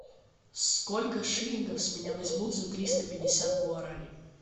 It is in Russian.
сколько шиллингов с меня возьмут за триста пятьдесят гуарани